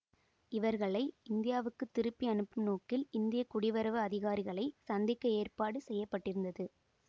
இவர்களை இந்தியாவுக்கு திருப்பி அனுப்பும் நோக்கில் இந்திய குடிவரவு அதிகாரிகளை சந்திக்க ஏற்பாடு செய்ய பட்டிருந்தது